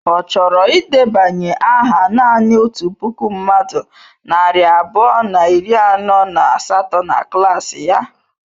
Ọ chọrọ ịdebanye aha naanị otu puku mmadụ narị abụọ na iri anọ na asatọ na klaasị ya?